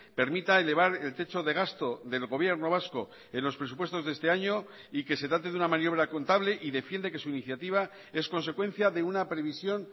permita elevar el techo de gasto del gobierno vasco en los presupuestos de este año y que se trate de una maniobra contable y defiende que su iniciativa es consecuencia de una previsión